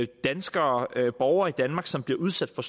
danskere borgere i danmark som bliver udsat for